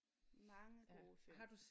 Mange gode film